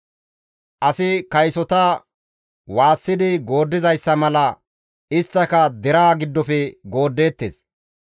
Asi kaysota waassidi gooddizayssa mala isttika deraa giddofe gooddeettes.